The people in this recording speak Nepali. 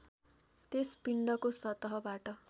त्यस पिण्डको सतहबाट